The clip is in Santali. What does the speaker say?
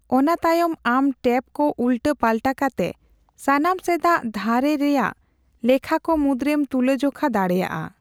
ᱚᱟᱱ ᱛᱟᱭᱚᱢ ᱟᱢ ᱴᱮᱵ ᱠᱚ ᱩᱞᱴᱟᱹᱼᱯᱟᱞᱴᱟ ᱠᱟᱛᱮ ᱥᱟᱱᱟᱢ ᱥᱮᱫᱟᱜ ᱫᱷᱟᱨᱮ ᱨᱮᱭᱟᱜ ᱞᱮᱠᱷᱟᱠᱚ ᱢᱩᱫᱨᱮᱢ ᱛᱩᱞᱟᱹᱡᱚᱠᱷᱟ ᱫᱟᱲᱮᱭᱟᱜᱼᱟ ᱾